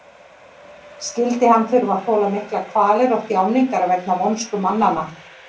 Skyldi hann þurfa að þola miklar kvalir og þjáningar vegna vonsku mannanna?